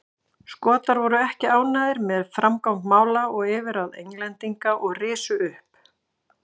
Skotar voru ekki ánægðir með framgang mála og yfirráð Englendinga og risu upp.